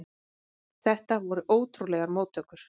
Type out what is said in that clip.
Þetta voru ótrúlegar móttökur.